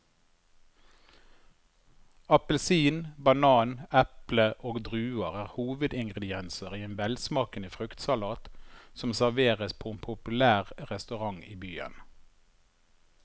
Appelsin, banan, eple og druer er hovedingredienser i en velsmakende fruktsalat som serveres på en populær restaurant i byen.